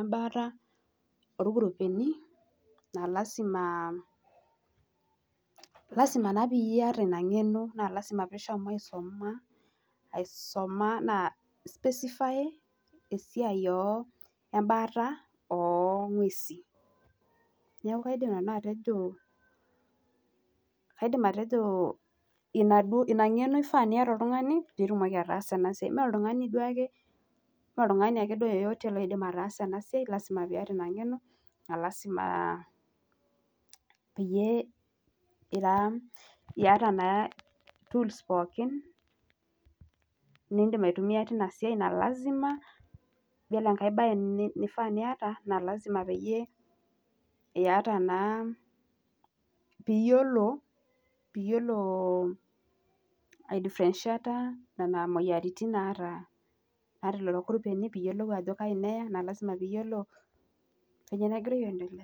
embaata oolkurupeni, esiai naa lasima naa piata ina ng'eno naa lasimo piishomo aisoma aisoma ana specify esiai naa embaata oong'uesi, neaku aidim nanu atejo ina ngeno duo eshaa niata oltung'ani pee itilaki ataasa ena siai, naa oltung'ani duake ake yoyote oidim ataasa ena siai naa lasima piata ina ngeno naa lasima piata naa tools pooki na lasima . ore enkai siai naa lasima peyie iata naa piiyiolo aiifrenshita moyiaritin naata lelo kuruoeni piiyiolou ajo ngai naata naa lasima peyiolo ajo nyoo nagira aendelea.